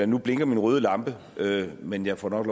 nu blinker min røde lampe men jeg får nok